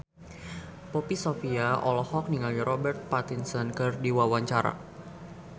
Poppy Sovia olohok ningali Robert Pattinson keur diwawancara